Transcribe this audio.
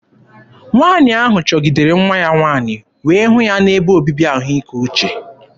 Nwaanyị ahụ chọgidere nwa ya nwaanyị wee hụ ya n'ebe obibi ahụike uche.